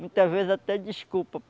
Muitas vezes até desculpa.